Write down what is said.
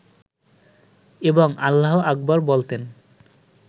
এবং আল্লাহু আকবর বলতেন